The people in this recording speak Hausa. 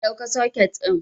Na ɗauka soket ɗin